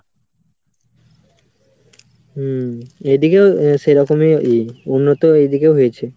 হম এদিকেও সেরকমই ই উন্নত এদিকেও হয়েছে।